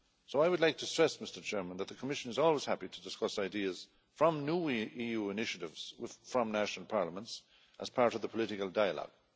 I would like to stress that the Commission is always happy to discuss ideas from new EU initiatives from national parliaments as part of the political dialogue.